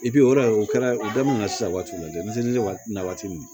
o de o kɛra o daminɛ sisan waati jumɛn ni waati na waati min